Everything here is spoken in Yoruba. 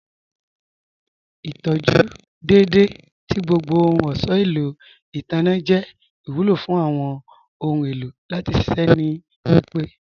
Ìtọjú dẹ́edẹ̀ tì gbogbo awọn ọhun èlò itanna jẹ́ ìwúlọ̀ fún awọn ọhun èlò láti ṣiṣẹ̀ ní pípẹ̀.